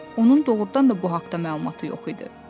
Onun doğrudan da bu haqda məlumatı yox idi.